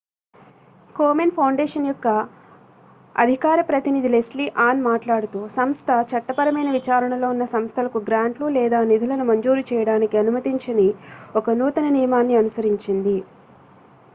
Komen foundation యొక్క అధికార ప్రతినిధి లెస్లీ ఆన్ మాట్లాడుతూ సంస్థ చట్టపరమైన విచారణ లో ఉన్న సంస్థలకు గ్రాంట్లు లేదా నిధులను మంజూరు చేయడానికి అనుమతించని ఒక నూతన నియమాన్ని అనుసరించింది